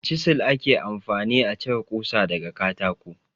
Cizel ake amfani a cire kusa daga katako.